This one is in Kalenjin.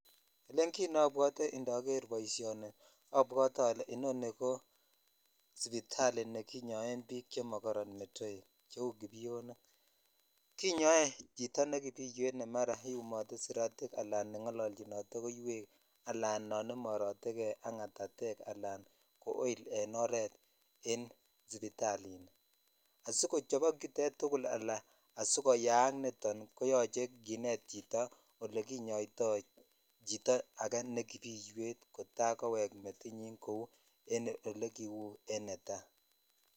Elen kit neobwotee indoger boisionni obwotee olee inoni ko sipitali nekinyoen bik chemokoron metoek cheu kipionik kinyoe chito nekibiwet ne iyumotee suratik alan nengolonchinotee koiwek alan nan imorotee kee ak ngatatek alan ko oil en oret en sipitalini asikochobok chutet tugul alan koyak koyuche kinet chito ole kinyoitoi chito ak ne kibiiwetvkota kowek metiny kou elekiu en netaji.